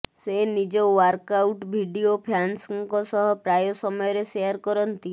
ସେ ନିଜ workout video ଫ୍ୟାନଙ୍କ ସହ ପ୍ରାୟ ସମୟରେ ସେୟାର କରନ୍ତି